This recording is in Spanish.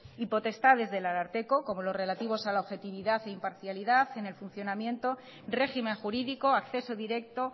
y potestades del ararteko como los relativos a la objetividad y parcialidad en el funcionamiento régimen jurídico acceso directo